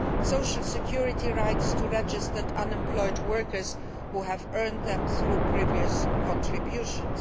social security rights for registered unemployed workers who have earned them through previous contributions.